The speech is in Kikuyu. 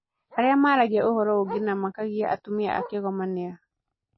Arĩa maragia ũhoro ũngĩ na makagia atumia a Kigoma nĩ a?